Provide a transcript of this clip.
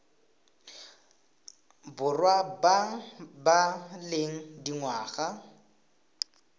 borwa ba ba leng dingwaga